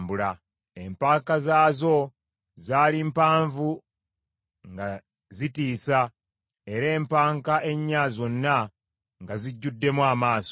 Empanka zaazo zaali mpanvu nga zitiisa, era empanka ennya zonna nga zijjuddemu amaaso.